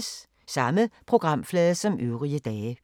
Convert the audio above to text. Samme programflade som øvrige dage